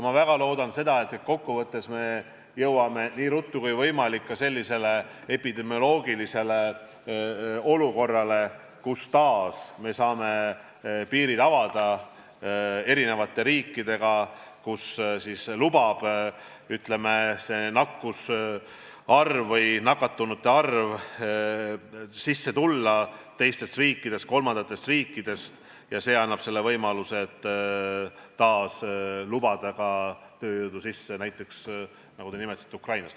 Ma väga loodan, et kokkuvõttes me jõuame nii ruttu kui võimalik ka sellise epidemioloogilise olukorrani, kus me taas saame piirid eri riikidega avada, ütleme, nakatunute arv lubab siia sisse tulla teistest riikidest, kolmandatest riikidest ja see annab võimaluse taas lubada ka tööjõudu sisse näiteks, nagu te nimetasite, Ukrainast.